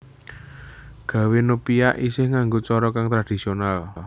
Gawè nopia isih nganggo cara kang tradisional